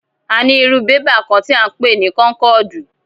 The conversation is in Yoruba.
A ní irú bébà kán tí à ń pè ní kónkọ̀dù.